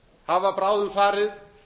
hafa bráðum farið